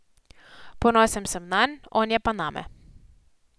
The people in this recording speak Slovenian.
Ponosen sem nanj, on je pa name.